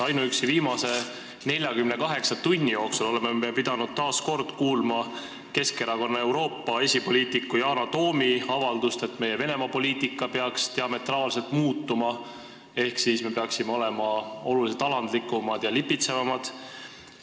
Ainuüksi viimase 48 tunni jooksul oleme pidanud taas kuulma Keskerakonna Euroopa esipoliitiku Yana Toomi avaldust, et meie Venemaa poliitika peaks diametraalselt muutuma ehk me peaksime olema oluliselt alandlikumad ja lipitsevamad.